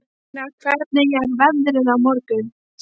Ólína, hvernig er veðrið á morgun?